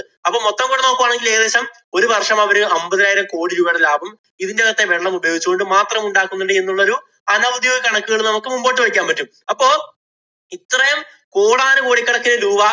നോക്കുകയാണെങ്കില്‍ ഏകദേശം ഒരു വര്‍ഷം അവര് അമ്പതിനായിരം കോടി രൂപയുടെ ലാഭം ഇതിന്‍റകത്തെ വെള്ളം ഉപയോഗിച്ച് കൊണ്ട് മാത്രം ഉണ്ടാക്കുന്നു എന്നുള്ളൊരു അനൌദ്യോഗിക കണക്കുകള്‍ നമുക്ക് മുമ്പോട്ട് വയ്ക്കാന്‍ പറ്റും. അപ്പൊ